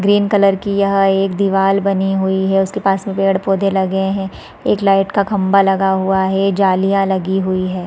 Green colour की यह एक दीवाल बनी हुई है उसके पास में पेड़ -पौधे लगे है एक लाइट का खम्बा लगा हुआ है जालियाँ लगी हुई हैं ।